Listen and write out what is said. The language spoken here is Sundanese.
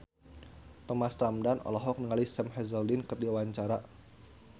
Thomas Ramdhan olohok ningali Sam Hazeldine keur diwawancara